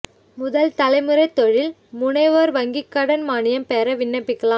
முதல் தலைமுறை தொழில் முனைவோா் வங்கிக் கடன் மானியம் பெற விண்ணப்பிக்கலாம்